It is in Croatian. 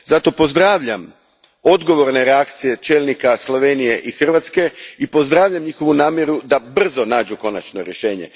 Zato pozdravljam odgovorne reakcije čelnika Slovenije i Hrvatske i pozdravljam njihovu namjeru da brzo nađu konačno rješenje.